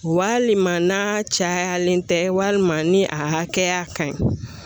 Walima n'a cayalen tɛ walima ni a hakɛya ka ɲi